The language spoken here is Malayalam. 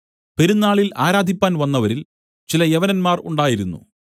പെരുന്നാളിൽ ആരാധിപ്പാൻ വന്നവരിൽ ചില യവനന്മാർ ഉണ്ടായിരുന്നു